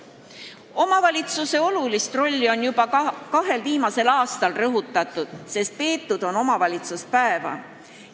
Omavalitsuse olulist rolli on juba kahel viimasel aastal rõhutatud, pidades omavalitsuspäeva.